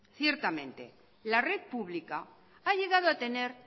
ciertamente la red pública ha llegado a tener